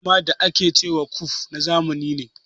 Gyaran suma da a ke ce ma ƙuif na zamani ne.